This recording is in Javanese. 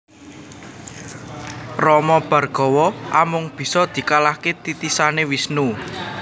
Rama Bhargawa amung bisa dikalahaké titisané Wisnu